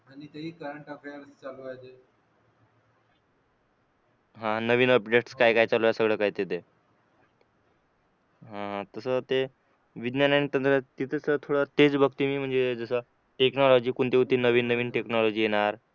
हा नवीन अपडेट सगळं काय काय चालू आहे सगळं काय ते दे तसं ते विज्ञान आणि तंत्रज्ञान तिथे तर थोडा तेच बघते मी जसं टेक्नॉलॉजी कोणती कोणती नवीन नवीन टेक्नॉलॉजी येणार